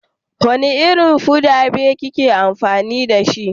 Wanda Irin fuda be kina amfani da shi?